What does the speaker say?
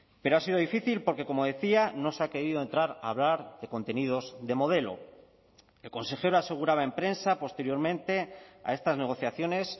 pero ha sido difícil porque como decía no se ha querido entrar a hablar de contenidos de modelo el consejero aseguraba en prensa posteriormente a estas negociaciones